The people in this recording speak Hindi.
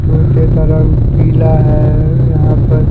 कुर्सी का रंग पीला है यहां पर--